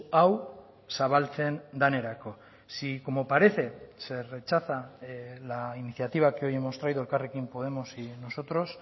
hau zabaltzen denerako si como parece se rechaza la iniciativa que hoy hemos traído elkarrekin podemos y nosotros